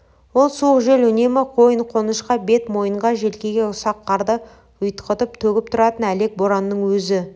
ол суық жел үнемі қойын-қонышқа бет-мойынға желкеге ұсақ қарды ұйтқытып төгіп тұратын әлек боранның өзі